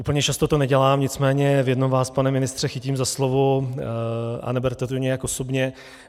Úplně často to nedělám, nicméně v jednom vás, pane ministře, chytím za slovo a neberte to nijak osobně.